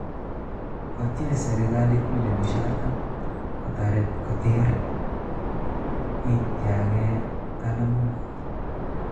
Kotyaach serikaliit milyoniisiek artam kotoreet koteer yiitagee ptalamook